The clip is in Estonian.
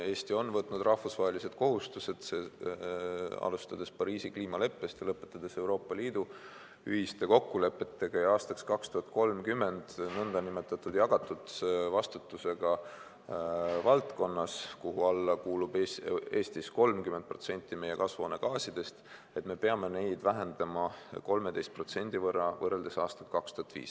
Eesti on võtnud rahvusvahelised kohustused, alustades Pariisi kliimaleppest ja lõpetades Euroopa Liidu ühiste kokkulepetega ja aastaks 2030 nn jagatud vastutusega valdkonnas, kuhu alla kuulub Eestis 30% meie kasvuhoonegaasidest, mida me peame vähendama 13% võrreldes aastaga 2005.